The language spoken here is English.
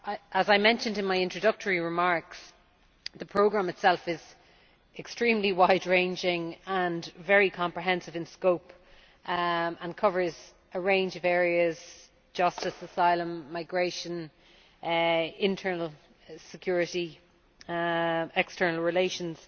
As I mentioned in my introductory remarks, the programme itself is extremely wide ranging and very comprehensive in scope and covers a range of areas justice, asylum, migration, internal security and external relations.